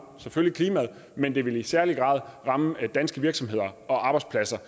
klimaet men det vil i særlig grad ramme danske virksomheder og arbejdspladser